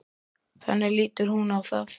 Þannig lítur hún á það.